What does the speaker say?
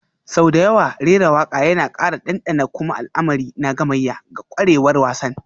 Sau da yawa rera waƙa yana ƙara ɗanɗana kuma al'amari na gamayya ga ƙwarewar wasan,